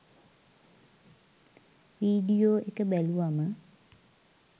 video එක බැලුවම